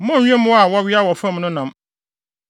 “ ‘Monnnwe mmoa a wɔwea wɔ fam no nam.